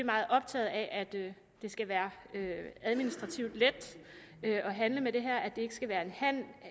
meget optaget af at det skal være administrativt let at handle med det her at det ikke skal være